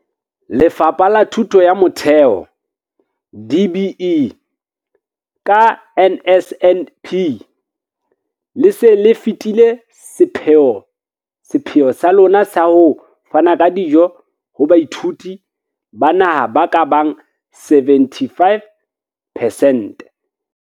Lefapha la Thuto ya Motheo, DBE, ka NSNP, le se le fetile sepheo sa lona sa ho fana ka dijo ho baithuti ba naha ba ka bang 75 percent.